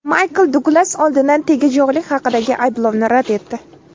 Maykl Duglas oldindan tegajog‘lik haqidagi ayblovni rad etdi.